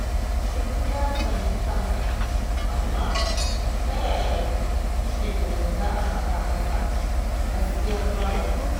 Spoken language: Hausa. Duk ya tsargi kansa fa, amma ta yaya kike ganin za'a faɗa masa gaskiyar lamarin